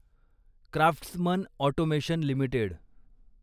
craftsman Automation limited